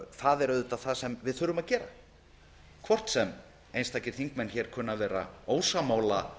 það er auðvitað það sem við þurfum að gera hvort sem einstakir þingmenn hér kunna að vera ósammála